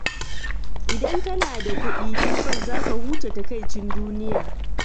Idan kana da kuɗi, tabbas za ka huce takaicin duniya.